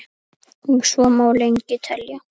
Og svo má lengi telja.